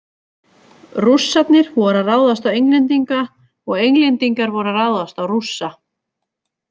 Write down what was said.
Rússarnir voru að ráðast á Englendinga og Englendingar voru að ráðast á Rússa.